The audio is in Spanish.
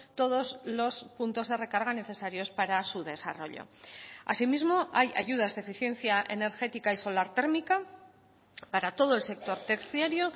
todos los puntos de recarga necesarios para su desarrollo asimismo hay ayudas de eficiencia energética y solar térmica para todo el sector terciario